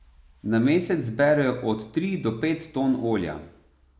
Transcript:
Na mesec zberejo od tri do pet ton olja.